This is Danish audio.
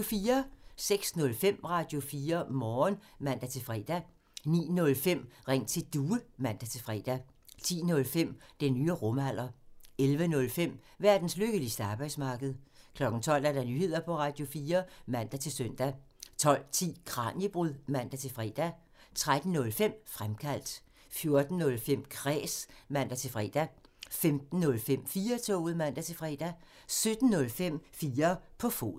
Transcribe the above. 06:05: Radio4 Morgen (man-fre) 09:05: Ring til Due (man-fre) 10:05: Den nye rumalder 11:05: Verdens lykkeligste arbejdsmarked 12:00: Nyheder på Radio4 (man-søn) 12:10: Kraniebrud (man-fre) 13:05: Fremkaldt 14:05: Kræs (man-fre) 15:05: 4-toget (man-fre) 17:05: 4 på foden